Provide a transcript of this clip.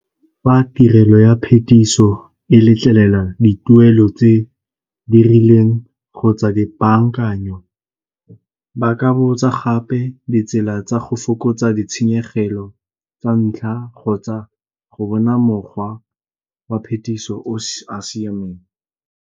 Fa tirelo ya phetiso e letlelela dituelo tse di rileng kgotsa di bankanyo ba ka botsa gape ditsela tsa go fokotsa ditshenyegelo tsa ntlha kgotsa go bona mokgwa wa phetiso o a siameng.